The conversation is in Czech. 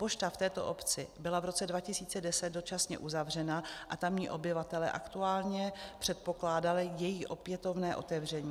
Pošta v této obci byla v roce 2010 dočasně uzavřena a tamní obyvatelé aktuálně předpokládali její opětovné otevření.